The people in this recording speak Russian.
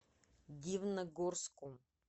дивногорску